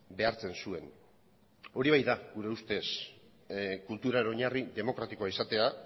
behartzen zuen hori bai da gure ustez kulturaren oinarri demokratikoa izatea